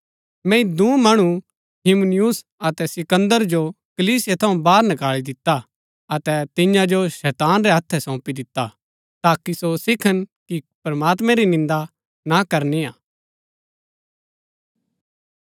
मैंई दूँ मणु हुमिनयुस अतै सिकन्दर जो कलीसिया थऊँ बाहर नकाळी दिता अतै तिन्या जो शैतान रै हत्थै सौंपी दिता ताकि सो सिखन कि प्रमात्मैं री निन्दा ना करनी हा